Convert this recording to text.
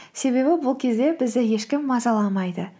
себебі бұл кезде бізді ешкім мазаламайды